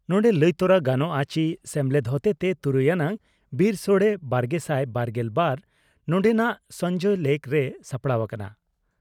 ᱱᱚᱰᱮ ᱞᱟᱹᱭ ᱛᱚᱨᱟ ᱜᱟᱱᱚᱜᱼᱟ ᱪᱤ, ᱥᱮᱢᱞᱮᱫ ᱦᱚᱛᱮᱛᱮ ᱛᱩᱨᱩᱭ ᱟᱱᱟᱜ ᱵᱤᱨᱥᱚᱲᱮᱼᱵᱟᱨᱜᱮᱥᱟᱭ ᱵᱟᱨᱜᱮᱞ ᱵᱟᱨ ᱱᱚᱸᱰᱮᱱᱟᱜ ᱥᱚᱸᱡᱚᱭ ᱞᱮᱠ ᱨᱮ ᱥᱟᱯᱲᱟᱣ ᱟᱠᱟᱱᱟ ᱾